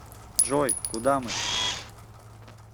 джой куда мы